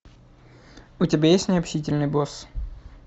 у тебя есть необщительный босс